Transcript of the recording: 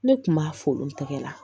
Ne kun b'a fo n tɛgɛ la